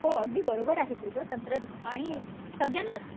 हो अगदी बरोबर आहे तुझं तंत्रज्ञान आणि सगळ्यांनाच